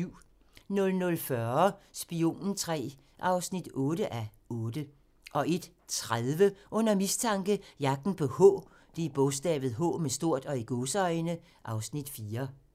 00:40: Spionen III (8:8) 01:30: Under mistanke - Jagten på "H" (Afs. 4)